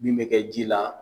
min bɛ kɛ ji la